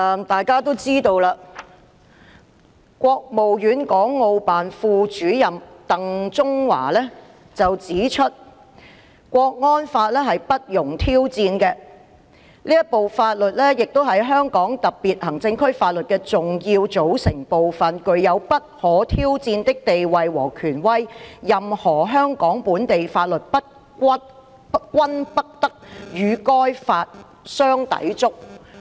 大家也知道，國務院港澳事務辦公室副主任鄧中華前日指出港區國安法不容挑戰，他說："這部法律是香港特區法律的重要組成部分，具有不可挑戰的地位和權威，任何香港本地法律均不得與該法相抵觸"。